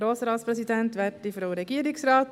Ich bin schon wieder hier!